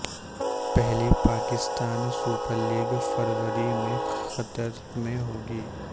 پہلی Pakistan super league فروری میں قطر میں ہوگی